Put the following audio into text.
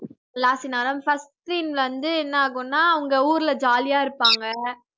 last scene அதாவது first scene ல வந்து என்ன ஆகும்னா அவங்க ஊர்ல jolly ஆ இருப்பாங்க